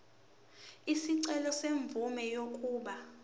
isicelo semvume yokuba